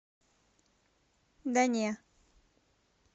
да не